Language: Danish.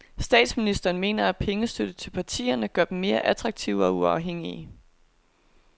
Statsministeren mener at pengestøtte til partierne gør dem mere attraktive og uafhængige.